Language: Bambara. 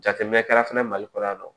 Jateminɛ kɛra fɛnɛ mali kɔnɔ yan nɔ